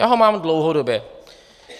Já ho mám dlouhodobě.